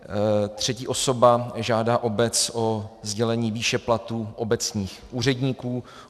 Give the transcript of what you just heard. Třetí osoba žádá obec o sdělení výše platů obecních úředníků.